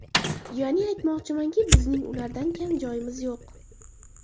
Ya’ni, aytmoqchimanki, bizning ulardan kam joyimiz yo‘q.